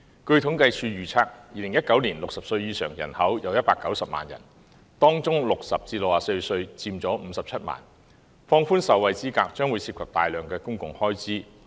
據政府統計處預測，在2019年60歲以上人口有190萬人，當中60歲至64歲人口佔57萬，放寬受惠資格將涉及大量公共開支。